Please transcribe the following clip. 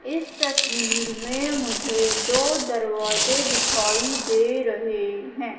इस तस्वीर में मुझे दो दरवाजे दिखाई दे रहे है।